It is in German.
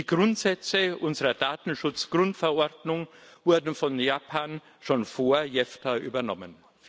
Die Grundsätze unserer Datenschutzgrundverordnung wurden von Japan schon vor JEFTA übernommen.